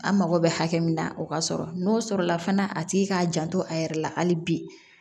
An mago bɛ hakɛ min na o ka sɔrɔ n'o sɔrɔla fana a tigi k'a janto a yɛrɛ la hali bi